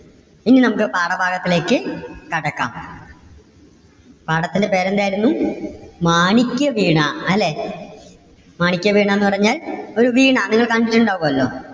ഇനി നമുക്ക് പാഠഭാഗത്തിലേക്ക് കടക്കാം. പാഠത്തിന്റെ പേര് എന്തായിരുന്നു? മാണിക്യവീണ അല്ലെ. മാണിക്യവീണ എന്ന് പറഞ്ഞാൽ പൂ വീണ നിങ്ങള് കണ്ടിട്ടുണ്ടാകുമല്ലോ?